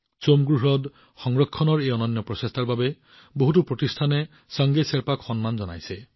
চোমগো হ্ৰদ সংৰক্ষণৰ এই অনন্য প্ৰচেষ্টাৰ বাবে বহুতো সংগঠনে চাংগে শ্বেৰ্পাকো সন্মানিত কৰিছে